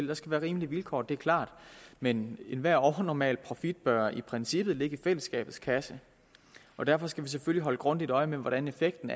der skal være rimelige vilkår det er klart men enhver overnormal profit bør i princippet ligge i fællesskabets kasse og derfor skal vi selvfølgelig holde grundigt øje med hvordan effekten